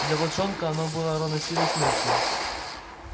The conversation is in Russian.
для волчонка оно было равносильно смерти